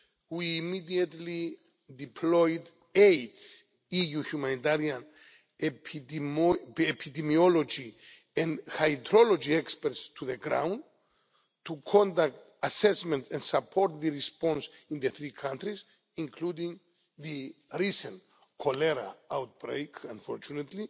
We immediately deployed eight EU humanitarian, epidemiology and hydrology experts to the ground, to conduct assessments and support the response in the three countries, including to the recent cholera outbreak, unfortunately.